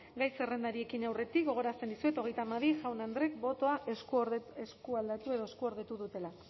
gai zerrendari ekin aurretik gogoratzen dizuet hogeita hamabi jaun andreek botoa eskualdatu edo eskuordetu dutela